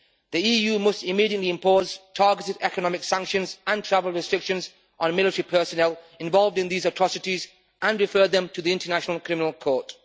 The EU must immediately impose targeted economic sanctions and travel restrictions on military personnel involved in these atrocities and refer them to the International Criminal Court.